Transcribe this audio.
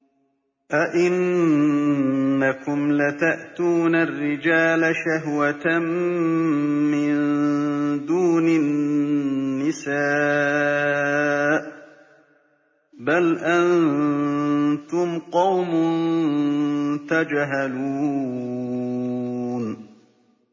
أَئِنَّكُمْ لَتَأْتُونَ الرِّجَالَ شَهْوَةً مِّن دُونِ النِّسَاءِ ۚ بَلْ أَنتُمْ قَوْمٌ تَجْهَلُونَ